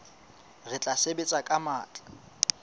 re tla sebetsa ka matla